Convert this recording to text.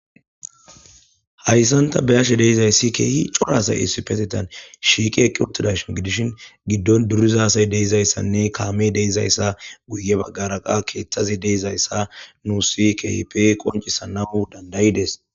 Hayissan ta beyashshe dizayissi coora assay issipeteththan shiqidi utidayissa gidishshin gidon duriza asi dizayissanne guye baggara kamey dizayissa qoncisanass dandayides